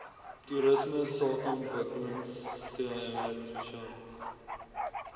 toerisme sakeontwikkelingseenheid spesialisraad